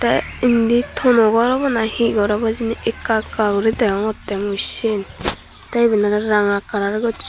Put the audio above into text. tey indi tono gor obo na hi gor obo hijeni ekka ekka guri degongottey mui siyen tey iben oley ranga kalar gossey.